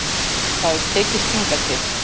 Það hefur tekist hingað til.